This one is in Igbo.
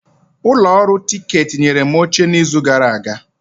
Ụlọ ọrụ tiketi nyere m oche n'izu gara aga.